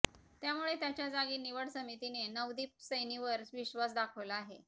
त्यामुळे त्याच्या जागी निवड समितीने नवदीप सैनीवर विश्वास दाखवला आहे